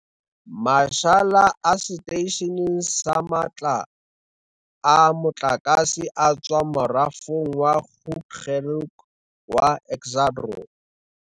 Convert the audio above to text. Mashala a seteishene sa matla a motlakase a tswa morafong wa Grootegeluk wa Exxaro.